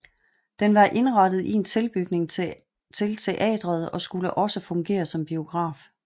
Den var indrettet i en tilbygning til teatret og skulle også fungere som biograf